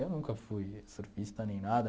Eu nunca fui surfista nem nada.